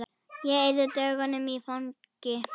Ég eyði dögunum í fangi